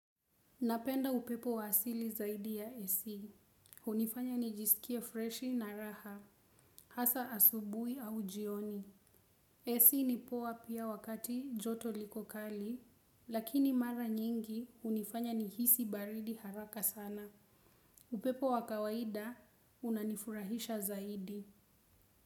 Napenda upepo wa asili zaidi ya AC. Unifanya nijisikie freshi na raha, hasa asubui au jioni. AC ni poa pia wakati joto liko kali, lakini mara nyingi hunifanya nihisi baridi haraka sana. Upepo wa kawaida, unanifurahisha zaidi.